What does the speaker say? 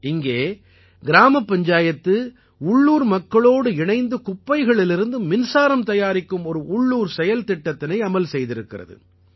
இங்கே கிராமப்பஞ்சாயத்து உள்ளூர் மக்களோடு இணைந்து குப்பைகளிலிருந்து மின்சாரம் தயாரிக்கும் ஓர் உள்ளூர் செயல்திட்டத்தினை அமல் செய்திருக்கிறது